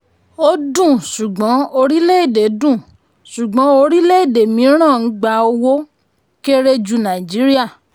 ó dùn ṣùgbọ́n orílẹ̀-èdè dùn ṣùgbọ́n orílẹ̀-èdè mìíràn ń gba owó kéré ju nàìjíríà.